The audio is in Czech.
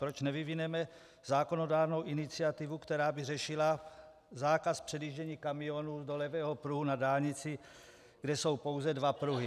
Proč nevyvineme zákonodárnou iniciativu, která by řešila zákaz předjíždění kamionů do levého pruhu na dálnici, kde jsou pouze dva pruhy?